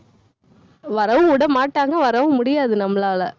வரவும் விடமாட்டாங்க, வரவும் முடியாது நம்மளால.